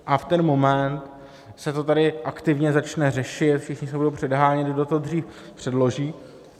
A v ten moment se to tady aktivně začne řešit, všichni se budou předhánět, kdo to dřív předloží.